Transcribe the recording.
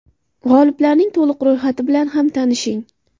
G‘oliblarning to‘liq ro‘yxati bilan ham tanishing.